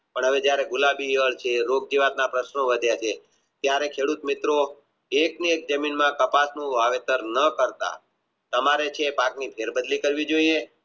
પણ હવે જયારે રૂપ જેવા ના પ્રશ્નો વધ્યા છે ત્યરે ખેડત મિત્રો એક ની એક જમીનમાં કપાસનું વાવેતર ના કરતા તમારે કપાસ ની ફેર બદલી થવી જોઇએ